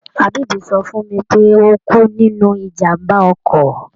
Habib sọ fún mi pé ó kú nínú ìjàm̀bá ọkọ̀.